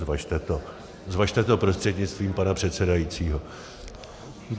Zvažte to prostřednictvím pana předsedajícího.